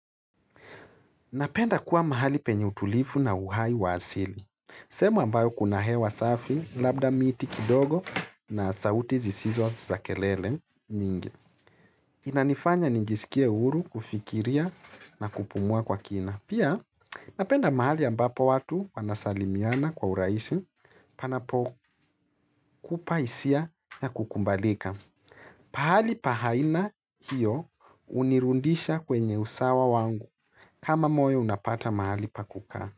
Napenda kuwa mahali penye utulivu na uhai wa asili. Sehemu ambayo kuna hewa safi, labda miti kidogo na sauti zisizo za kelele nyingi. Inanifanya nijisikie huru kufikiria na kupumua kwa kina. Pia napenda mahali ambapo watu wanasalimiana kwa urahisi panapo kupa hisia ya kukubalika. Pahali pa aina hio hunirudisha kwenye usawa wangu kama moyo unapata mahali pa kukaa.